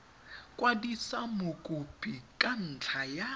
kwadisa mokopi ka ntlha ya